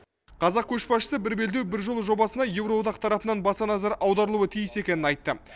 қазақ көшбасшысы бір белдеу бір жол жобасына еуроодақ тарапынан баса назар аударылуы тиіс екенін айтты